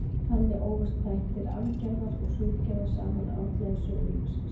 Þannig ófust þættir arfgerðar og svipgerðar saman árla í sögu lífsins.